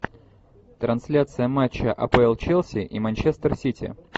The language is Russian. трансляция матча апл челси и манчестер сити